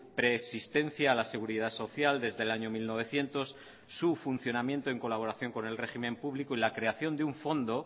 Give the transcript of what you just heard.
preexistencia a la seguridad social desde el año mil novecientos su funcionamiento en colaboración con el régimen público y la creación de un fondo